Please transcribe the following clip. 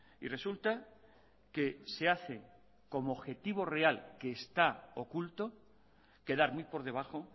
y resulta que se hace como objetivo real que está oculto quedar muy por debajo